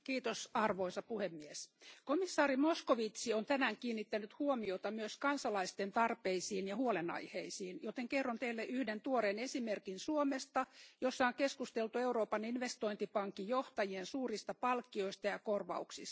Arvoisa puhemies, komissaari Moscovici on tänään kiinnittänyt huomiota myös kansalaisten tarpeisiin ja huolenaiheisiin, joten kerron Teille yhden tuoreen esimerkin Suomesta, jossa on keskusteltu Euroopan investointipankin johtajien suurista palkkioista ja korvauksista.